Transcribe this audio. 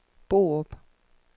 Borup